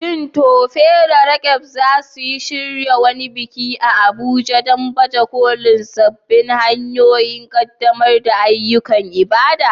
Shin Tope da Roqeeb za su shirya wani biki a Abuja don baje kolin sabbin hanyoyin ƙaddamar da ayyukan ibada?